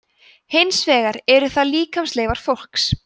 hins vegar eru það líkamsleifar fólks